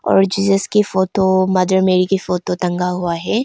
और जीजस की photo mother Mary की फोटो टंगा हुआ है।